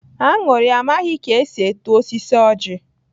Añụrị amaghị ka esi eto osisi ojị.